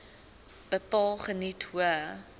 bepaal geniet hoë